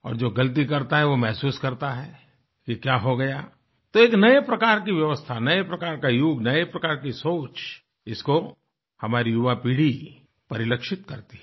और जो गलती करता है वो महसूस करता है कि क्या हो गया तो एक नए प्रकार की व्यवस्था नए प्रकार का युग नए प्रकार की सोच इसको हमारी युवापीढ़ी परिलक्षित करती है